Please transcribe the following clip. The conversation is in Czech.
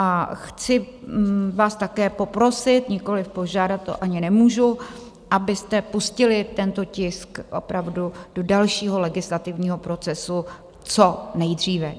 A chci vás také poprosit, nikoliv požádat, to ani nemůžu, abyste pustili tento tisk opravdu do dalšího legislativního procesu co nejdříve.